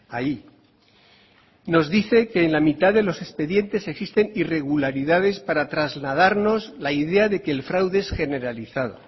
ahí nos dice que en la mitad de los expedientes existen irregularidades para trasladarnos la idea de que el fraude es generalizado